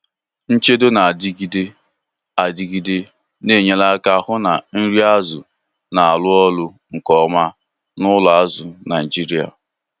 nchedo na-adigide adịgide Na-enyere aka hụ na nri azụ na-arụ ọrụ nke ọma n'ụlọ azụ Naijiria.